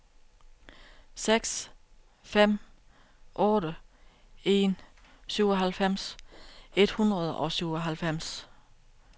seks fem otte en syvoghalvfems et hundrede og syvoghalvfems